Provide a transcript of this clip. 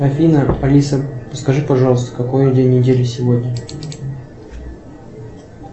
афина алиса скажи пожалуйста какой день недели сегодня